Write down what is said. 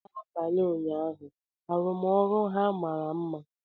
N'abalị ụnyaahụ, arụmọrụ ha mara mma.